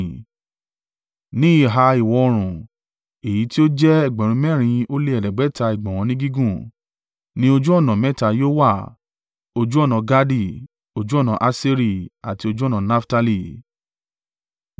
Ní ìhà ìwọ̀-oòrùn, èyí tí ó jẹ́ ẹgbẹ̀rún mẹ́rin ó lé ẹ̀ẹ́dẹ́gbẹ̀ta (4,500) ìgbọ̀nwọ́ ni gígùn, ní ojú ọ̀nà mẹ́ta yóò wà: ojú ọ̀nà Gadi, ojú ọ̀nà Aṣeri àti ojú ọ̀nà Naftali.